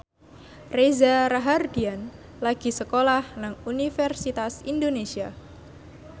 Reza Rahardian lagi sekolah nang Universitas Indonesia